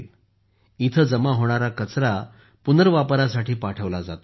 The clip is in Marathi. आता येथे जमा होणारा कचरा पुनर्वापरासाठी पाठवला जातो